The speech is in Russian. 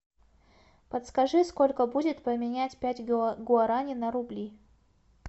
подскажи сколько будет поменять пять гуарани на рубли